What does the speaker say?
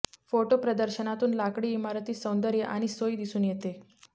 photo प्रदर्शनातून लाकडी इमारती सौंदर्य आणि सोई दिसून येते